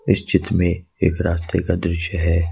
इस चित्र में एक रास्ते का दृश्य है।